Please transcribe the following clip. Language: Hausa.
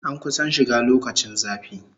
An kusan shiga lokacin zafi